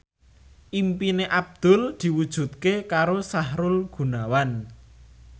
impine Abdul diwujudke karo Sahrul Gunawan